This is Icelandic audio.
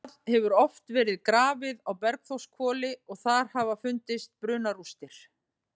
Það hefur oft verið grafið á Bergþórshvoli og þar hafa fundist brunarústir.